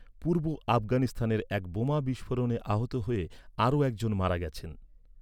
পূর্ব আফগানিস্তানের এক বোমা বিস্ফোরণে আহত হয়ে আরও একজন মারা গেছেন।